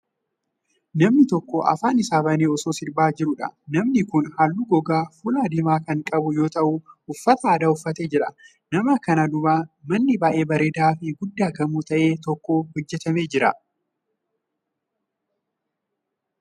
Namni tokko afaan isaa banee osoo sirbaa jiruu dha. Namni kun, haalluu gogaa fuulaa diimaa kan qabu yoo ta'u, uffata aadaa uffatee jira. Nama kana duuba manni baay'ee bareedaa fi guddaa gamoo ta'e tokko hojjatamee jira.